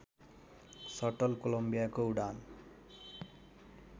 subtle कोलम्बियाको उडान